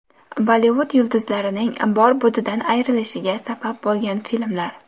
Bollivud yulduzlarining bor-budidan ayrilishiga sabab bo‘lgan filmlar.